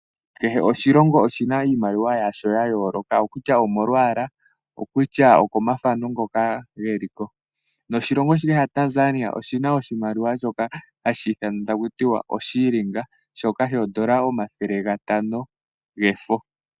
Kehe oshilongo oshina iimaliwa yasho ya yooloka. Okutya omolwaala , okutya oko mathana ngoka geliko. Noshilongo shaTanzania oshina oshimaliwa shoka hashi ithanwa taku tiwa oshilingi , shoka shoondola omathele gatano gefo.